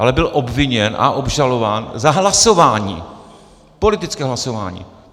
Ale byl obviněn a obžalován za hlasování, politické hlasování.